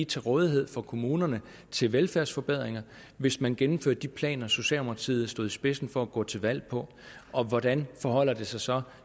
til rådighed for kommunerne til velfærdsforbedringer hvis man gennemførte de planer socialdemokratiet stod i spidsen for at gå til valg på og hvordan forholder det sig så